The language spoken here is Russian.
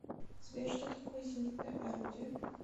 сбер что такое зенитное орудие